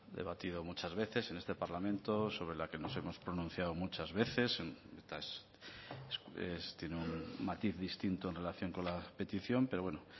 debatido muchas veces en este parlamento sobre la que nos hemos pronunciado muchas veces y tiene un matiz distinto en relación con la petición pero bueno